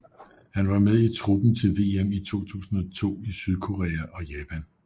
Han var med i truppen til VM i 2002 i Sydkorea og Japan